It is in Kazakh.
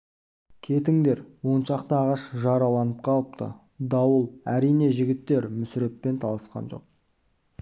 кетіңдер он шақты ағаш жараланып қалыпты дауыл әрине жігіттер мүсіреппен таласқа жоқ